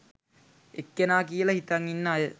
එක්කෙනා කියල හිතන් ඉන්න අය